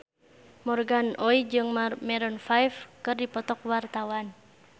Morgan Oey jeung Maroon 5 keur dipoto ku wartawan